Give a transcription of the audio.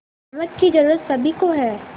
नमक की ज़रूरत सभी को है